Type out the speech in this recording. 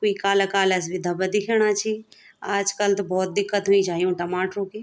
कुई काला काला सी भी धब्बा दिखेणा छी आजकल त भोत दिक्कत हुईं छाई यूँ टमाटरो की।